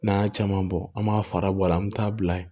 N'an y'a caman bɔ an m'a fara bɔ a la an bɛ taa bila yen